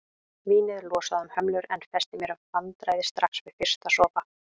Vínið losaði um hömlur en festi mér vandræði strax við fyrsta sopa.